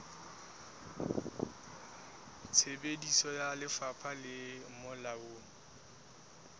tsebiso ya lefapha le molaong